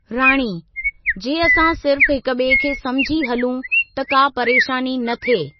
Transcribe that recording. राणी: जे असां सिर्फ़ हिकु बि॒ए खे समुझी हलूं त का परेशानी न थिए।